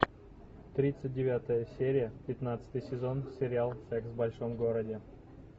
тридцать девятая серия пятнадцатый сезон сериал секс в большом городе